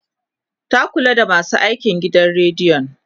ta Kula da masu aikin gidan radiyon